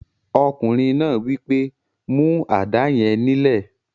Ọkùnrin náà wí pé, "mú àdá yẹn nílẹ̀!"